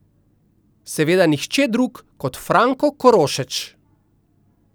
Seveda nihče drug kot Franko Korošeč.